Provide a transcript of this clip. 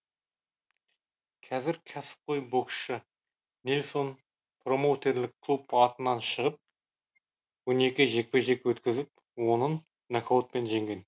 қазір кәсіпқой боксшы нельсон промоутерлік клуб атынан шығып он екі жекпе жек өткізіп онын нокаутпен жеңген